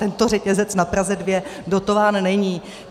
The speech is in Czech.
Tento řetězec na Praze 2 dotován není.